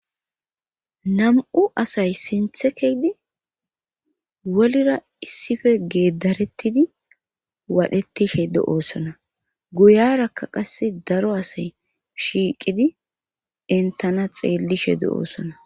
Nam7u asay sithe keyidi wolira issipe geeddarettidi wadhettishe de7oosona goyaarakka qassi daro asay shiiqidi entana xeellishe de7oosona.